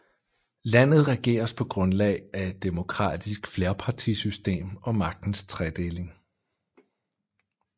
Landet regeres på grundlag af et demokratisk flerpartisystem og magtens tredeling